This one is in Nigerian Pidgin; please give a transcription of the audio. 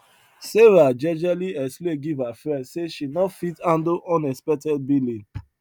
sarah jejely explain give her friend say she no fit handle unexpected billing